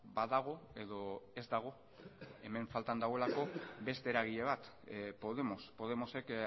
badago edo ez dago hemen faltan dagoelako beste eragile bat podemos podemosek